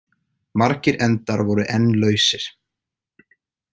Margir endar voru enn lausir.